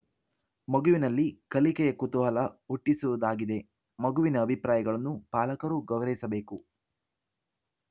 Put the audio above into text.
ಮಗುವಿನಲ್ಲಿ ಕಲಿಕೆಯ ಕುತೂಹಲ ಹುಟ್ಟಿಸುವುದಾಗಿದೆ ಮಗುವಿನ ಅಭಿಪ್ರಾಯಗಳನ್ನು ಪಾಲಕರೂ ಗೌರವಿಸಬೇಕು